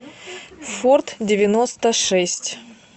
форд девяносто шесть